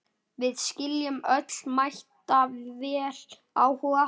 Við skiljum öll mætavel áhuga